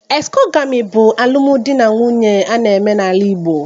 Exogamy bụ ụdị alụmdi na nwunye a na-eme n'ala Igbo